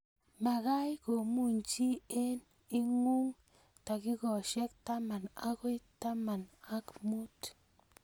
Makat kumuny chi eng ing'ung takikaishek taman akoi taman ak mut.